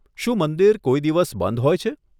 શું મંદિર કોઈ દિવસ બંધ હોય છે?